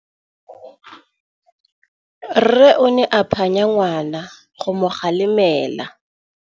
Rre o ne a phanya ngwana go mo galemela.